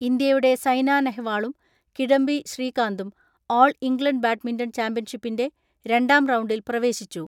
ഇന്ത്യയുടെ സൈനാനെ ഹ് വാളും കിഡംബി ശ്രീകാന്തും ഓൾ ഇംഗ്ലണ്ട് ബാഡ്മിന്റൺ ചാമ്പ്യൻഷിപ്പിന്റെ രണ്ടാം റൗണ്ടിൽ പ്രവേശിച്ചു.